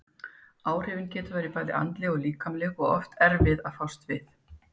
Áhrifin geta verið bæði andleg og líkamleg og oft erfið að fást við.